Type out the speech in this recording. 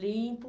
Limpo.